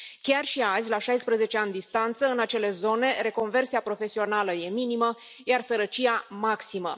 Chiar și azi, la 16 ani distanță, în acele zone, reconversia profesională este minimă, iar sărăcia, maximă.